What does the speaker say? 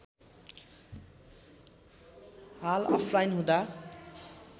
हाल अफलाईन हुँदा